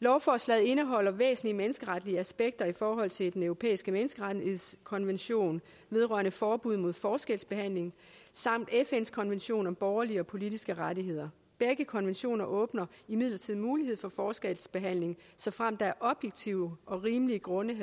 lovforslaget indeholder væsentlige menneskeretlige aspekter set i forhold til den europæiske menneskerettighedskonvention vedrørende forbud mod forskelsbehandling samt fns konvention om borgerlige og politiske rettigheder begge konventioner åbner imidlertid mulighed for forskelsbehandling såfremt der er objektive og rimelige grunde